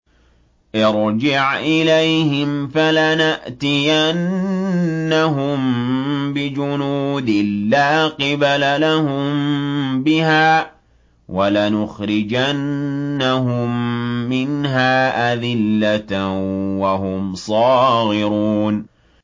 ارْجِعْ إِلَيْهِمْ فَلَنَأْتِيَنَّهُم بِجُنُودٍ لَّا قِبَلَ لَهُم بِهَا وَلَنُخْرِجَنَّهُم مِّنْهَا أَذِلَّةً وَهُمْ صَاغِرُونَ